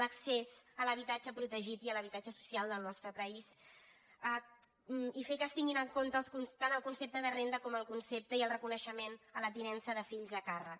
l’accés a l’habitatge prote·git i a l’habitatge social del nostre país i fer que es tinguin en compte tant el concepte de renda com el concepte i el reconeixement de la tinença de fills a càrrec